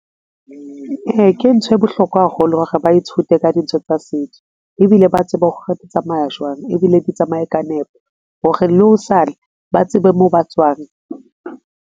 Ee, ke nthwe bohlokwa haholo hore ba ithute ka dintho tsa setso ebile ba tsebe hore di tsamaya jwang ebile di tsamaye ka nepo hore le hosane ba tsebe moo ba tswang.